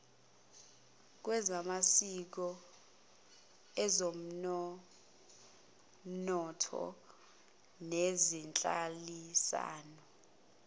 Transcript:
lwezamasiko ezonomnotho nezenhlalisano